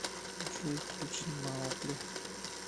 джой включи маугли